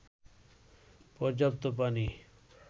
পর্যাপ্ত পানি